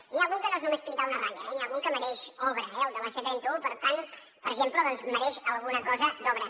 n’hi ha algun que no és només pintar una ratlla eh n’hi ha algun que mereix obra eh el de la c trenta un per exemple mereix alguna cosa d’obra